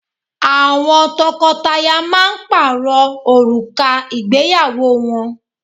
Àwọn tọkọtaya máa ń pààrọ̀ òrùka ìgbéyàwó wọn